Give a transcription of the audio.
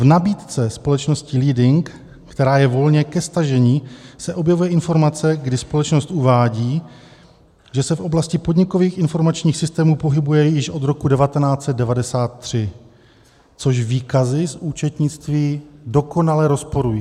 V nabídce společnosti Leading, která je volně ke stažení, se objevuje informace, kdy společnost uvádí, že se v oblasti podnikových informačních systémů pohybuje již od roku 1993, což výkazy z účetnictví dokonale rozporují.